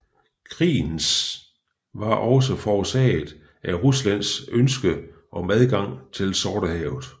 Krigens var også forårsaget af Ruslands ønske om adgang til Sortehavet